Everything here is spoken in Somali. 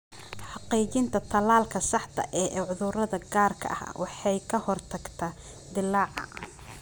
Xaqiijinta tallaalka saxda ah ee cudurrada gaarka ah waxay ka hortagtaa dillaaca.